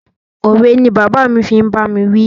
Òwe ni bàbá fi ń bá mi wí.